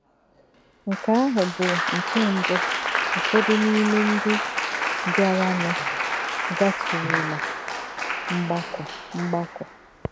Nkè̄ àhụ̄ bụ nkè̄ mbụ́ úfọ́dū n’ímè̄ ndí̄ bíárànụ̄ gàtù̄rù̄lá̄ mgbà̄kọ̀. mgbà̄kọ̀.